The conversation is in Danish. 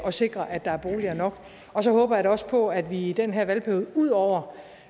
at sikre at der er boliger nok og så håber jeg da også på at vi i den her valgperiode ud over